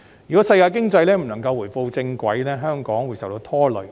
如果世界經濟不能夠回到正軌，香港便會受到拖累。